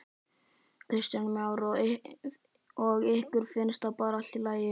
Kristján Már: Og ykkur finnst það bara allt í lagi?